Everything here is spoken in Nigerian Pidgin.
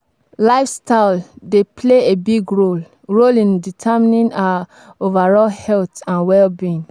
Lifestyle dey play a big role role in determining our overall health and well-being.